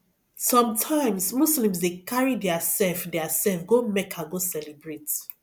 sometimes muslims dey carry their self their self go mecca go celebrate